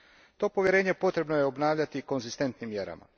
To povjerenje potrebno je obnavljati konzistentnim mjerama.